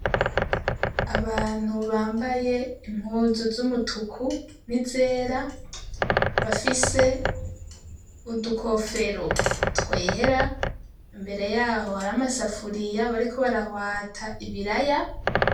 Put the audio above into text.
Abantu bambaye impuzu z'umutuku n'izera bafise udukofero twera, imbere yaho hari amasafuriya bariko barahwata ibiraya.